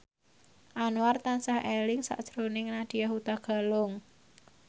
Anwar tansah eling sakjroning Nadya Hutagalung